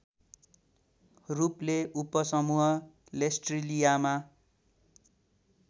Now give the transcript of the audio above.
रूपले उपसमूह लेसर्टिलियामा